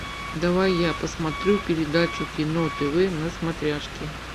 давай я посмотрю передачу кино тв на смотрешке